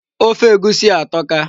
Ofe egusi a atọka.